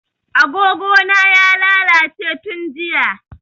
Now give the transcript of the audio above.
A gogo na ya lalace tun jiya